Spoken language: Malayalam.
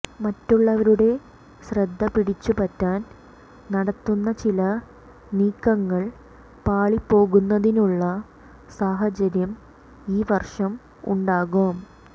മറ്റുള്ളവരുടെ ശ്രദ്ധ പിടിച്ചു പറ്റാൻ നടത്തുന്ന ചില നീക്കങ്ങൾ പാളിപ്പോകുന്നതിനുള്ള സാഹചര്യം ഈ വർഷം ഉണ്ടാകാം